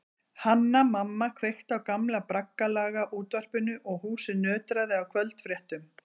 Hanna-Mamma kveikti á gamla braggalaga útvarpinu og húsið nötraði af kvöldfréttum.